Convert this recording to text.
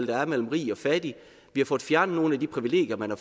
været mellem rig og fattig vi har fået fjernet nogle af de privilegier man har